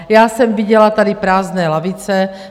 Já jsem viděla tady prázdné lavice.